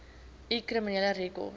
u kriminele rekord